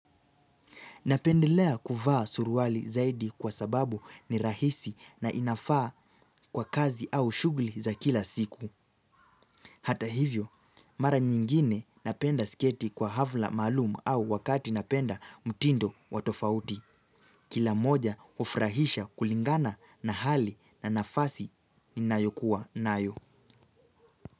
Napendelea kuvaa suruali zaidi kwa sababu ni rahisi na inafaa kwa kazi au shughuli za kila siku. Hata hivyo, mara nyingine napenda sketi kwa hafla maalum au wakati napenda mtindo wa tofauti. Kila moja hufurahisha kulingana na hali na nafasi ninayokuwa nayo.